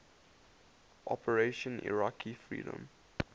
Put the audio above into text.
operation iraqi freedom